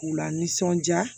K'u lanisɔndiya